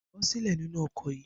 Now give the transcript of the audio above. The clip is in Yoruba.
Bó̩ sílè̩ nínú o̩kò̩ yìí!